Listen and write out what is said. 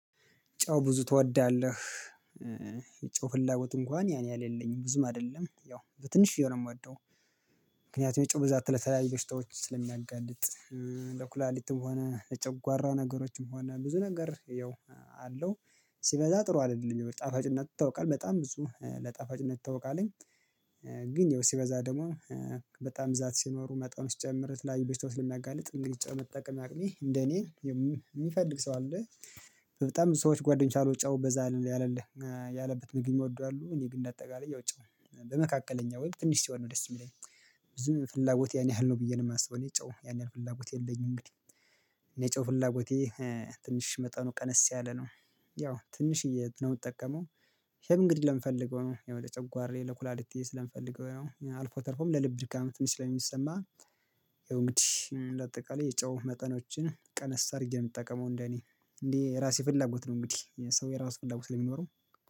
ጨው ብዙ ትወዳለህ? ጨው ፍላጎት እንኳን ያን ያህል የለኝም ብዙም አይደለም ያው በትንሽዬ ነው የምወደው ምክንያቱም የጨዋ ብዛት ለተለያዩ በሽታዎች ስለሚያጋልጥ ለኩላሊትም ሆነ ለጨዋራ ነገሮችም ሆነ ብዙ ነገር ያው አለው ሲበዛ ጥሩ አይደለም የጣፋጭነቱ ታውቃለህ በጣም ብዙ ለጣፋጭነት ይታውቃለኝ ግን ያው ሲበዛ ደግሞ በጣም ብዛት ሲኖሩ መጣው ሲጨምር ለተለያዩ በሽታዎች ስለሚያጋልጥ እንግዲህ ጨው መጠቀም አቅሜ እንደኔ የሚፈልግ ሰው አለ በጣም ብዙ ሰዎች ጓደኞች አሉ ጨው በዛ ያለለ ያለበት ምግብ የሚወዱ አሉ፣ እኔ ግን እንደ አጠቃላይ ያው ጨው በመካከለኛ ወይም ትንሽ ሲሆን ነው ደስ የሚለኝ ብዙ ፍላጎት ያን ያህል ነው ብዬ ነው የማስበው እኔ ጨው ያን ያህል ፍላጎት የለኝም እንግዲህ እኔ ጨው ፍላጎቴ ትንሽ መጠኑ ቀነስ ያለ ነው ያው ትንሽዬ ነው የምጠቀመው እንግዲህ ለምፈልገው ነው ያው ለጨጓሬ ለኩላሊቴ ስለምፈልገው ያው አልፎ ተርፎም ለልብ ድካም ትንሽ ስለሚሰማ ያው እንግዲህ እንደ አጠቃላይ የጨው መጠኖችን ቀነስ አድርጌ ነው የምጠቀመው እንደኔ እንዴ የራሴ ፍላጎት ነው እንግዲህ የሰው የራሱ ፍላጎት ሊኖረው